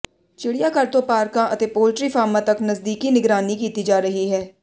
ਚਿੜੀਆਘਰ ਤੋਂ ਪਾਰਕਾਂ ਅਤੇ ਪੌਲੀਟੀ ਫਾਰਮਾਂ ਤੱਕ ਨਜ਼ਦੀਕੀ ਨਿਗਰਾਨੀ ਕੀਤੀ ਜਾ ਰਹੀ ਹੈ